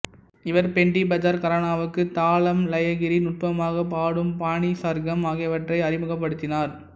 இவர் பெண்டிபஜார் கரானாவுக்கு தாளம் லயகரி நுட்பமாக பாடும் பாணி சர்கம் ஆகியவற்றை அறிமுகப்படுத்தினார்